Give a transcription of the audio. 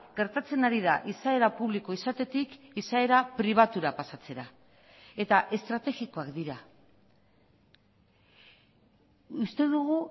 gertatzen ari da izaera publiko izatetik izaera pribatura pasatzera eta estrategikoak dira uste dugu